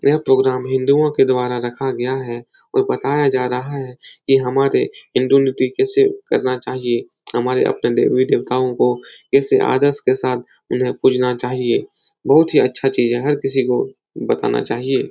यह प्रोग्राम हिन्दुओं के द्वारा रखा गया है और बताया जा रहा है कि हमारे हिन्दू नीति कैसे करना चाहिए। हमारे अपने देवी देवताओं को ऐसे आदर्श के साथ उन्हें पूजना चाहिए। बहुत ही अच्छा चीज़ है हर किसी को बताना चाहिए।